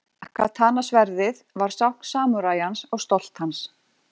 Katana-sverðið var tákn samúræjans og stolt hans.